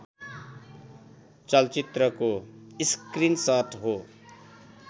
चलचित्रको स्क्रिनसट हो